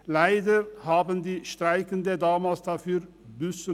Leider mussten die Streikenden damals dafür büssen.